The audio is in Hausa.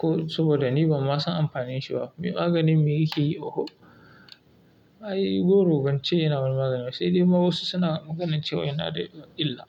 Ko saboda ni ban ma san amfanin shi ba. Maganin me yake yi oho? Ai goro bace yana wani magani ba, sai dai ma wasu suna maganar cewa yana da illa.